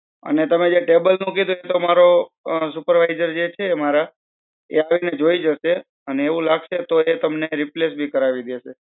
અને તમે જે table નું કીધું છે, મારો supervisor જે છે મારા તે આવીને જોઈ જાસે, અને એવું લાગસે તો એ તમને રિપ્લેસ બી કરાવી દે છે.